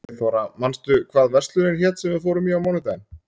Eyþóra, manstu hvað verslunin hét sem við fórum í á mánudaginn?